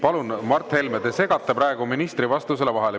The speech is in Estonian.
Palun, Mart Helme, te segate praegu ministri vastusele vahele.